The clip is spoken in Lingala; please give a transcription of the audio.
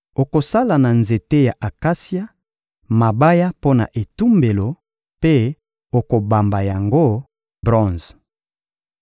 Okosala na nzete ya akasia, mabaya mpo na etumbelo mpe okobamba yango bronze.